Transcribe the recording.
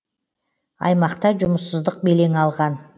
аймақта жұмыссыздық белең алған